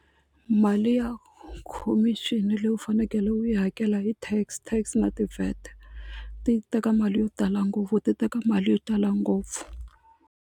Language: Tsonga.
Mali ya khomixini leyi u fanekele u yi hakela i tax, tax na ti-VAT ti teka mali yo tala ngopfu ti teka mali yo tala ngopfu.